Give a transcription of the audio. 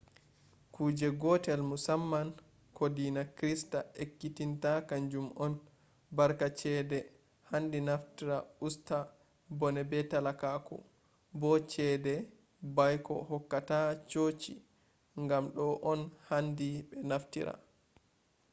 kuje gotel musamman ko dina krista ekkitinta kanjum on barka chede handi nafftra usta bone be talakaku bo chede baiko hokkata chochi gam do on handi be naftira